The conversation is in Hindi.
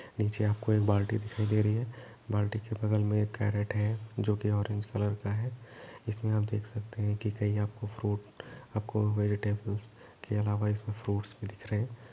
नीचे आपको एक बाल्टी दिखाई दे रही है बाल्टी के बगल में एक कैरट है जो की ऑरेंज कलर का है इसमें देख सकते हैं कहीं आपको फ्रूट आपको वेजिटेबल्स के अलावा आप इसमें फ्रूट्स दिख रहे हैं।